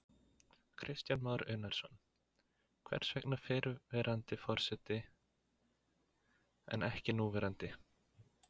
Kristján Már Unnarsson: Hvers vegna fyrrverandi forseti en ekki núverandi?